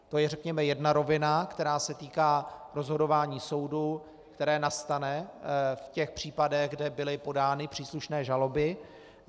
To je řekněme jedna rovina, která se týká rozhodování soudů, které nastane v těch případech, kde byly podány příslušné žaloby.